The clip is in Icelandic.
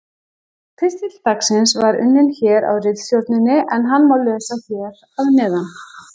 Pistill dagsins var unninn hér á ritstjórninni en hann má lesa hér að neðan: